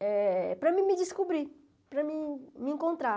eh para mim me descobrir, para me encontrar.